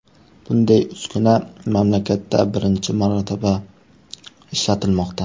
Bunday uskuna mamlakatda birinchi marotaba ishlatilmoqda.